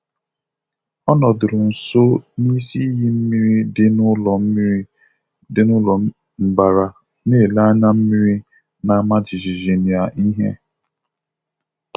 Ọ nọdụrụ nso n'isi iyi mmiri dị n'ụlọ mmiri dị n'ụlọ mbara, na-ele anya mmiri na-ama jijiji na ìhè.